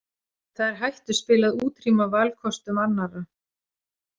Það er hættuspil að útrýma valkostum annarra.